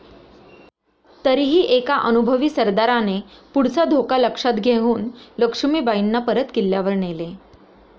तरीही एका अनुभवी सरदाराने पुढचा धोका लक्षात घेऊन लक्ष्मीबाईंना परत किल्ल्यावर नेले.